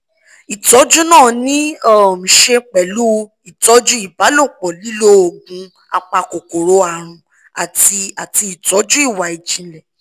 ìtọ́jú náà ní í um ṣe pẹ̀lú ìtọ́jú ìbálòpọ̀ lílo oògùn apakòkòrò àrùn àti àti ìtọ́jú ìwà ìjìnlẹ̀